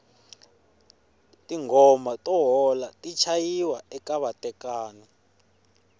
tingoma to hola ti chayiwa eka vatekani